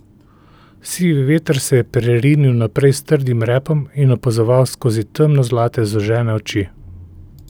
Sivi veter se je prerinil naprej s trdim repom in opazoval skozi temno zlate zožene oči.